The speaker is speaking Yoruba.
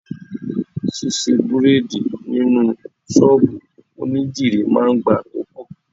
Ṣisẹ́ Bírádìì nínú ṣọ́bùù onídìrí máa ń gba àkókò.